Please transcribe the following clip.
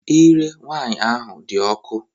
Ire nwaanyị ahụ dị ọkụ.